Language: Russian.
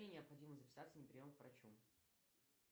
мне необходимо записаться на прием к врачу